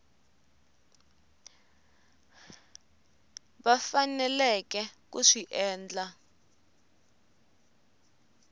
va faneleke ku swi endla